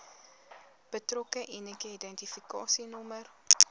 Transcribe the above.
betrokke unieke identifikasienommer